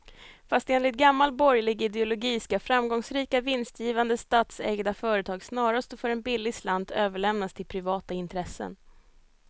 Fast enligt gammal borgerlig ideologi ska framgångsrika, vinstgivande statsägda företag snarast och för en billig slant överlämnas till privata intressen.